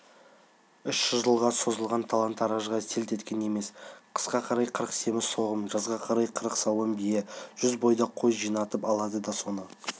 үш жылға созылған талан-таражға селт еткен емес қысқа қарай қырық семіз соғым жазға қарай қырық сауын бие жүз бойдақ қой жинатып алады да соны